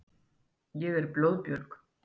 Ég er blóðbjörg.